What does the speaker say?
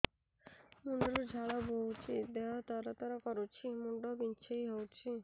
ମୁଣ୍ଡ ରୁ ଝାଳ ବହୁଛି ଦେହ ତର ତର କରୁଛି ମୁଣ୍ଡ ବିଞ୍ଛାଇ ହଉଛି